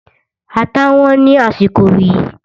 Ata Wọ́n ní àsìkò yìí